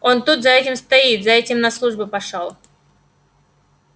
он тут за этим стоит за этим на службу пошёл